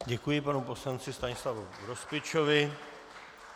Děkuji panu poslanci Stanislavu Grospičovi.